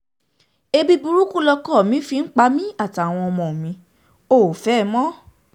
um ebi burúkú lọkọ mi fi ń pa èmi àtàwọn ọmọ mi ò um fẹ́ ẹ mọ́